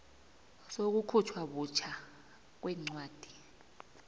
sokukhutjhwa butjha kwencwadi